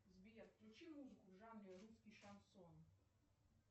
сбер включи музыку в жанре русский шансон